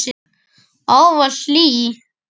Ávallt hlý.